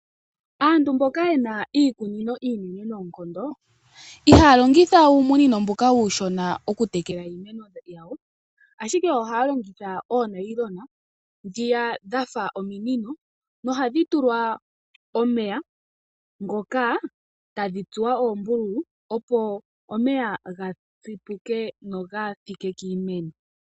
Aantu mboka yena iikunino inene noonkondo iha longitha uumunino mbuka uushona oku tekela iimeno yawo ashike ohaya longitha oonylon dhiya dhafa ominino nohadhi tulwa omeya etadhi ngoka tadhi tsuwa ombululu opo omeya ga tsipuke nogathike kiimeno.